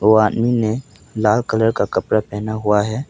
वो आदमी ने लाल कलर का कपड़ा पहना हुआ है।